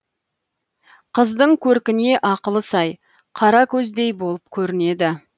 қыздың көркіне ақылы сай қаракөздей болып көрінеді